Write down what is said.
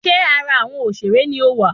Ṣé ara awọn òṣèré ni ọ wá?